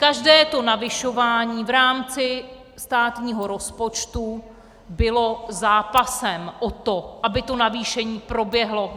Každé to navyšování v rámci státního rozpočtu bylo zápasem o to, aby to navýšení proběhlo.